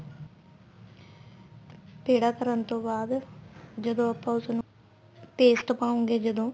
ਪੇੜਾ ਕਰਨ ਤੋਂ ਬਾਅਦ ਜਦੋਂ ਆਪਾਂ ਉਸ ਨੂੰ paste ਪਾਉਗੇ ਜਦੋਂ